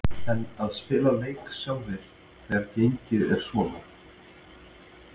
En að spila leik sjálfir þegar gengið er svona?